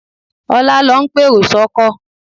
Ọlá ló ń pèrò sọ́kọ̀